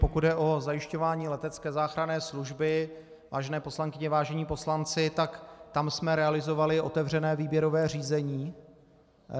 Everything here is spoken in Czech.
Pokud jde o zajišťování letecké záchranné služby, vážené poslankyně, vážení poslanci, tak tam jsme realizovali otevřené výběrové řízení.